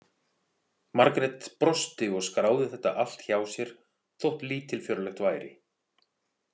Margrét brosti og skráði þetta allt hjá sér þótt lítilfjörlegt væri.